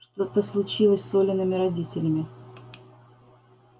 что случилось-то с олиными родителями